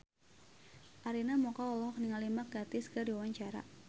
Arina Mocca olohok ningali Mark Gatiss keur diwawancara